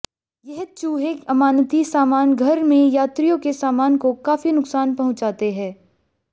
यह चूहे अमानती सामान घर में यात्रियों के सामान को काफी नुकसान पहुंचाते हैं